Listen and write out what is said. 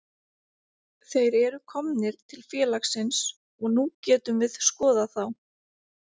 Þeir eru komnir til félagsins og nú getum við skoðað þá.